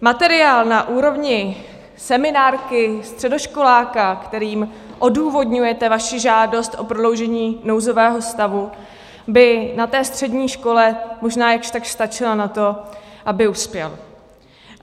Materiál na úrovni seminárky středoškoláka, kterým odůvodňujete svoji žádost o prodloužení nouzového stavu, by na té střední škole možná jakž takž stačil na to, aby uspěl.